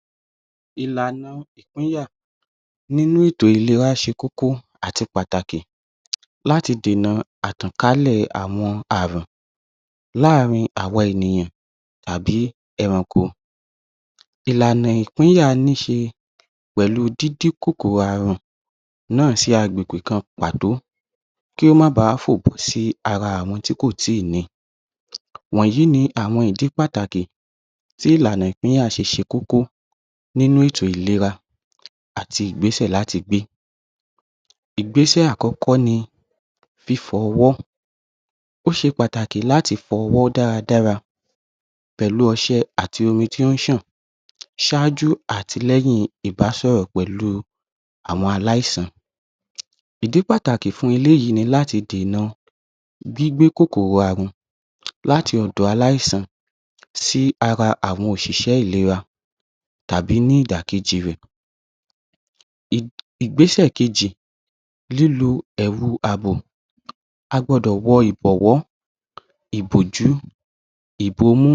?? Ìlànà ìpínyà nínú ètò ìlera ṣe kókó àti pàtàkì láti dènà àtànkálẹ̀ àwọn Ààrùn láàrin àwa ènìyàn tàbí ẹranko ìlànà ìpínyà ní ṣe pẹ̀lú dídí kòkòrò Ààrùn náà sí àgbègbè kan pàtó kí ó má báà fòpin sí ara àwọn tí kò tí ì ní i wọ̀nyí ni àwọn ìdí pàtàkì tí ìlànà ìpínyà ṣe ṣe kókó nínú ètò ìlera àti ìgbésẹ̀ láti gbé ìgbésẹ̀ àkọ́kọ́ ni fífọ ọwọ́ ó ṣe pàtàkì láti fọ ọwọ́ dára dára pẹ̀lú ọṣẹ àti omi tí ó ń ṣàn ṣáájú àtilẹ́yìn ìbásọ̀rọ̀ pẹ̀lú àwọn aláìsàn ìdí pàtàkì fún eléyìí ni láti dènà gbígbé kòkòrò Ààrùn láti ọ̀dọ̀ aláìsàn sí ara òṣìṣẹ́ ìlera tàbí ní ìdàkejì rẹ ìgbésẹ̀ kejì lílo ẹ̀wù àbò a gbọdọ̀ wọ ìbọ̀wọ́ ìbòjú ìbomú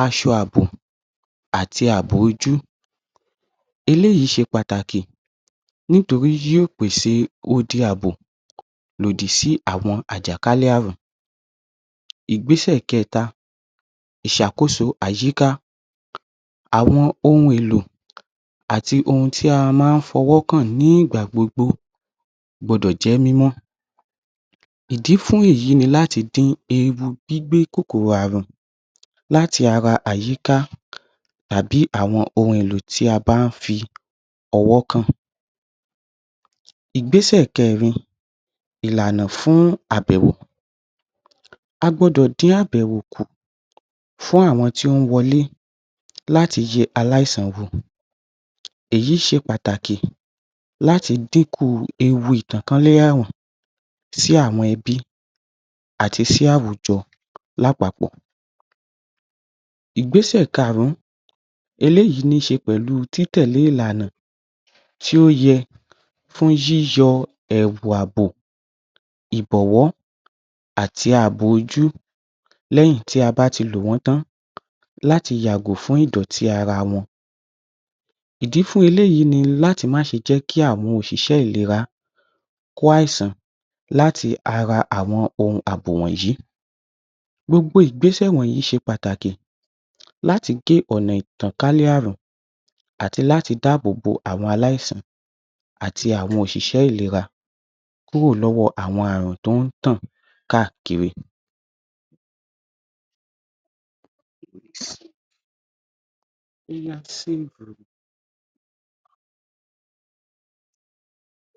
aṣọ àbò àti àbò ojú eléyìí ṣe pàtàkì nítorí yóò pèsè odi àbò lòdì sí àwọn àjàkálẹ̀ Ààrùn ìgbésẹ̀ kẹẹ̀ta ìṣàkóso àyíká àwọn ohun èlò àti ohun tí a máa ń fọwọ́ kàn nígbà gbogbo àti ohun t gbọdọ̀ jẹ́ mímọ́ ìdí fún èyí ni láti dín ewu gbígbé kòkòrò ààrùn láti ara àyíká tàbí àwọn ohun èlò tí a bá ń fi ọwọ́ kàn ìgbésẹ̀ kẹẹ̀rin ìlànà fún àbẹ̀wò a gbọ́dọ̀ dín àbẹ̀wò kù fún àwọn tí ó ń wọlé láti yẹ aláìsàn wò èyí ṣe pàtàkì láti dín kù ewu ìtànkálẹ̀ Ààrùn sí àwọn ẹbí àti sí àwùjọ lápapọ̀ ìgbésẹ̀ kaàrún eléyìí ní ṣe pẹ̀lú tí tẹ̀lé ìlànà tí ó yẹ fún yíyọ àwọn ẹ̀wù àbò ìbọ̀wọ tàbí àbò ojú lẹ́yìn tí a bá ti lò wọ́n tán láti yàgòfún ìdọ̀tí ara wọn ìdí fún eléyìí ni láti má jẹ́ kí àwọn òṣìṣẹ́ ìlera kó àìsàn láti ara àwọn ohun àbò wọ̀nyí gbogbo ìgbésẹ̀ wọ̀nyí ṣe pàtàkì láti gé ọ̀nà ìtànkálẹ̀ Ààrùn àti láti dáàbò bo àwọn aláìsàn wọ̀nyí ṣe pàtàkì láti gé ọ̀nà ìtànkálẹ̀ Ààrùn à àti àwọn òṣìṣẹ́ ìlera kúrò lọ́wọ́ àwọn Ààrùn tó ń tàn káàkiri.????